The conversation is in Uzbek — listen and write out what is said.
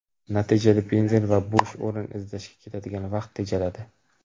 Natijada benzin va bo‘sh o‘rin izlashga ketadigan vaqt tejaladi.